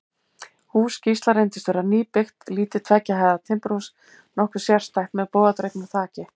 Hús Gísla reyndist vera nýbyggt, lítið tveggja hæða timburhús, nokkuð sérstætt, með bogadregnu þaki.